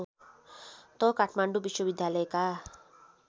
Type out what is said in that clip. त काठमाडौँ विश्वविद्यालयका